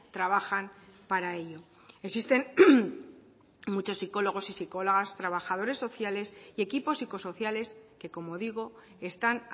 trabajan para ello existen muchos psicólogos y psicólogas trabajadores sociales y equipos psicosociales que como digo están